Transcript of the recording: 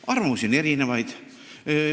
Arvamusi on erinevaid.